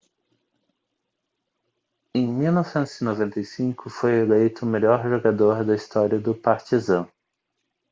em 1995 foi eleito o melhor jogador da história do partizan